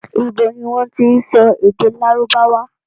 Ibo ni wọ́n tí ń sọ èdè lárùbáwá?